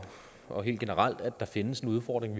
og helt generelt anerkender at der findes en udfordring